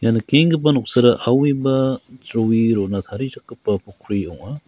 ia nikenggipa noksara aue ba jroe rona tarichakgipa pokri ong·a.